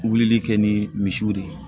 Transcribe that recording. Wulili kɛ ni misiw de ye